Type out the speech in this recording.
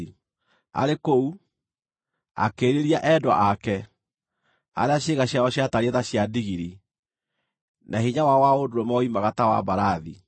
Arĩ kũu, akĩĩrirĩria endwa ake, arĩa ciĩga ciao ciatariĩ ta cia ndigiri, na hinya wao wa ũndũrũme woimaga ta wa mbarathi.